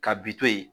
Ka bi to yen